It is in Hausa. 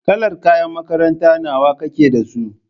Kalar kayan makaranta nawa kake da su?